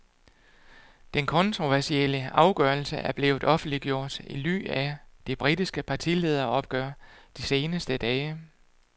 Den kontroversielle afgørelse er blevet offentliggjort i ly af det britiske partilederopgør de seneste dage.